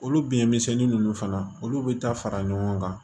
Olu bi misɛnnin ninnu fana olu be taa fara ɲɔgɔn kan